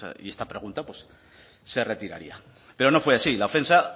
y esta pregunta pues se retiraría pero no fue así la ofensa